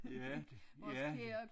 Ja det ja